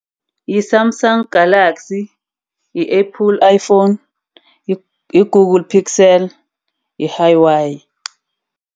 Yi-Samsung Galaxy, i-Apple Iphone, yi-Google pixel, yi-Hauwei.